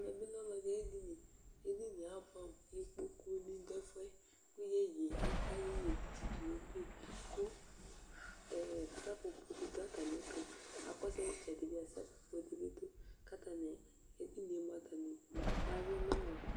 ɛmɛ bi lɛ ɔlo ɛdi ayi edini edini yɛ aboɛ amo ikpoku ni do ɛfu yɛ kò yeye ata yeye tsito no ugli kò seƒoƒo di do atami ɛto k'akɔsu itsɛdi bi seƒoƒo di bi do k'atani edini yɛ moa atani awi no